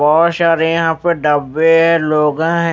बहुत सारे यहां पर डब्बे हैं लोग हैं।